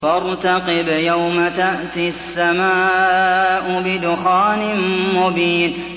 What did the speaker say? فَارْتَقِبْ يَوْمَ تَأْتِي السَّمَاءُ بِدُخَانٍ مُّبِينٍ